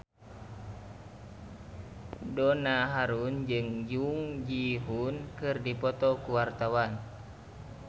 Donna Harun jeung Jung Ji Hoon keur dipoto ku wartawan